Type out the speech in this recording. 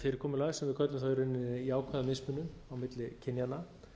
fyrirkomulag sem við köllum þá í rauninni jákvæða mismunun á milli kynjanna